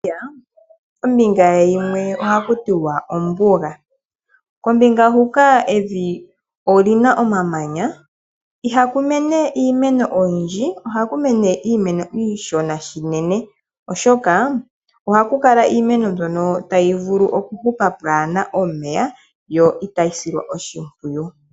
Namibia ombinga ye yimwe ohaku tiwa ombuga. Kombinga hoka evi oli na omamanya ihaku mene iimeno oyindji ohaku mene iimeno iishona unene, oshoka ohaku kala iimeno mbyono tayi vulu okuhupa pwaa na omeya yo itayi silwa oshimpwiyu.